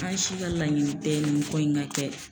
An si ka laɲini tɛ nin ko in ka kɛ.